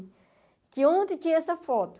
Que ontem tinha essa foto.